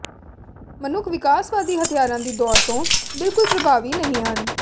ਮਨੁੱਖ ਵਿਕਾਸਵਾਦੀ ਹਥਿਆਰਾਂ ਦੀ ਦੌੜ ਤੋਂ ਬਿਲਕੁਲ ਪ੍ਰਭਾਵੀ ਨਹੀਂ ਹਨ